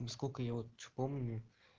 сколько я вот помню